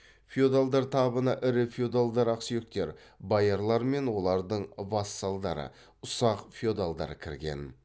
феодалдар табына ірі феодалдар ақсүйектер боярлар мен олардың вассалдары ұсақ феодалдар кірген